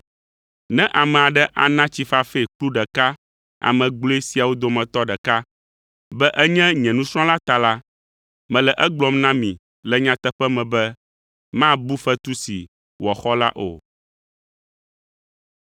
Ne ame aɖe ana tsi fafɛ kplu ɖeka ame gblɔe siawo dometɔ ɖeka, be enye nye nusrɔ̃la ta la, mele egblɔm na mi le nyateƒe me be mabu fetu si wòaxɔ la o.”